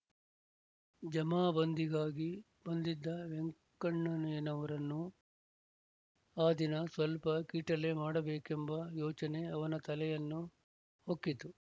ಜಮಾಬಂದಿಗಾಗಿ ಬಂದಿದ್ದ ವೆಂಕಣ್ಣನಯ್ಯನವರನ್ನು ಆ ದಿನ ಸ್ವಲ್ಪ ಕೀಟಲೆ ಮಾಡಬೇಕೆಂಬ ಯೋಚನೆ ಅವನ ತಲೆಯನ್ನು ಹೊಕ್ಕಿತು